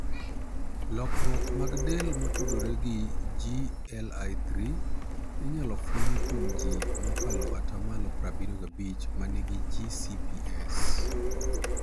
Lokruok mag del motudore gi GLI3 inyalo fweny kuom ji mokalo 75% ma nigi GCPS.